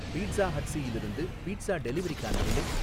pizza ஹட்ஸ்யிலிருந்து pizza டெலிவரிக்கான நிலை